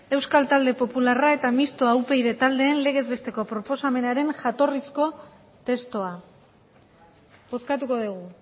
euskal talde popularra eta mistoa upyd taldeen legez besteko proposamenaren jatorrizko testua bozkatuko dugu